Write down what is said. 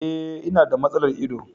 E, ina da matsalar ido.